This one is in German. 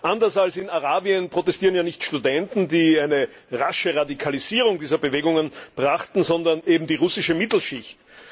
Anders als in Arabien protestieren ja nicht Studenten, die eine rasche Radikalisierung dieser Bewegungen brachten, sondern eben die russische Mittelschicht.